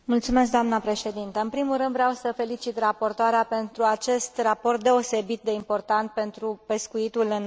În primul rând, vreau să o felicit pe raportoare pentru acest raport deosebit de important pentru pescuitul în Marea Neagră.